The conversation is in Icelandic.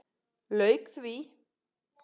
Lauk því.